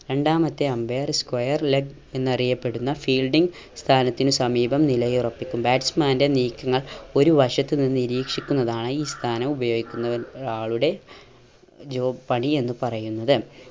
രണ്ടാമത്തെ umpire square leg എന്നറിയപ്പെടുന്ന fielding സ്ഥാനത്തിന് സമീപം നിലയുറപ്പിക്കും batsman ൻറെ നീക്കങ്ങൾ ഒരു വശത്തു നിന്ന് നിരീക്ഷിക്കുന്നതാണ് ഈ സ്ഥാനം ഉപയോഗിക്കുന്നവ യാളുടെ job പണി എന്ന് പറയുന്നത്